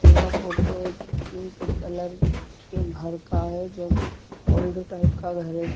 यहाँ फोटो एक pink colour के घर का है जब ओल्ड टाइप का घर है।